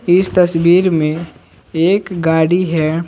इस तस्वीर में एक गाड़ी है।